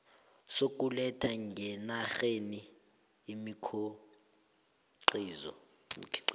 sokuletha ngenarheni imikhiqizo